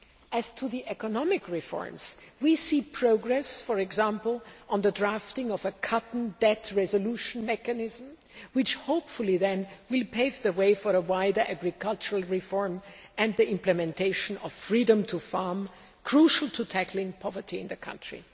As to the economic reforms, we see progress, for example, on the drafting of a cotton debt resolution mechanism, which hopefully will pave the way for wider agricultural reforms and the implementation of Freedom to Farm', crucial to tackling poverty in the country.